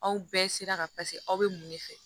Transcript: Aw bɛɛ sira kan paseke aw bɛ mun de fɛ